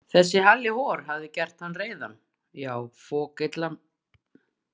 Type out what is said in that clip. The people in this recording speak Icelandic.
Þessi Halli hor hafði gert hann reiðan, já, fokillan.